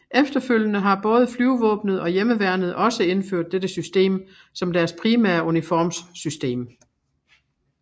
Efterfølgende har både Flyvevåbnet og Hjemmeværnet også indført dette system som deres primære uniformssystem